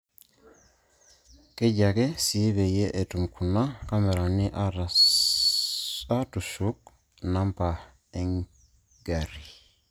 Keji ake sii peyie etum kuna kamerani aatusuk namba engarri